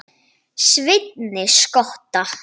Sveini skotta.